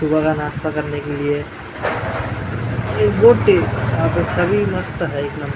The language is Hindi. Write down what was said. सुबह का नाश्ता करने के लिए ये बोट है यहाँ पे सभी मस्त है एक नंबर --